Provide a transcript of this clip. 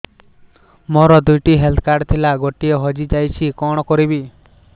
ମୋର ଦୁଇଟି health card ଥିଲା ଗୋଟିଏ ହଜି ଯାଇଛି କଣ କରିବି